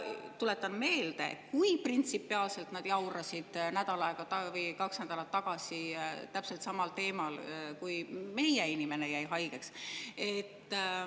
Tuletan meelde, kui printsipiaalselt nad jaurasid nädal või kaks nädalat tagasi täpselt samal teemal, kui meie inimene jäi haigeks.